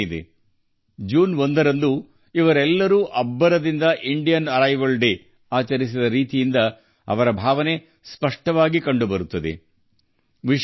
ಅವರು ಜೂನ್ 1ರಂದು ಭಾರತೀಯ ಪರಂಪರೆಯ ದಿನವನ್ನು ಸಂಭ್ರಮದಿಂದ ಆಚರಿಸಿದ ರೀತಿಯೇ ಈ ಭಾವನೆಯನ್ನು ಪ್ರತಿಬಿಂಬಿಸುತ್ತಿದೆ